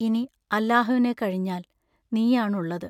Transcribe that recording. ഇനി അല്ലാഹ് വിനെക്കഴിഞ്ഞാൽ നീയാണുള്ളത്.